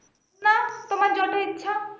না তোমার যত ইচ্ছা